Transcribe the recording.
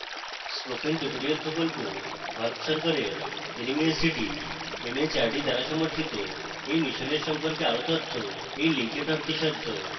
spoken tutorial প্রকল্প ভারত সরকারের nmeict mhrd দ্বারা পরিচালিত